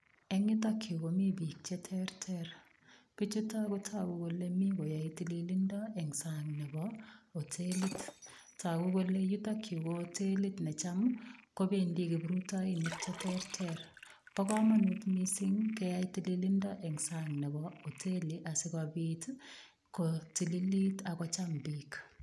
Eng yutok yu komi biik cheterter. Biichuto kotagu kole mi koyae tililindo eng sang nebo hotelit. Tagu kole yutok yu ko hotelit ne cham kobendi kiprutoinik cheterter. Bo komanut mising keyai tililindo eng sang nebo hotelit asigopit kotililit ak kocham biik.